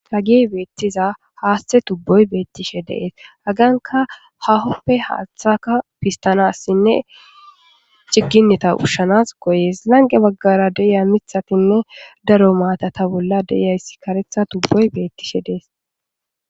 ta gi beettiza haaste tubboy beettishe deees agaanka hahoppe haaththaka pistanassinne cigginneta ushshanas goyees lange baggara deya mithatinne daro maatata bolla deyayssi karetha tubboy beettishe dees